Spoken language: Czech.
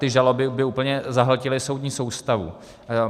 Ty žaloby by úplně zahltily soudní soustavu.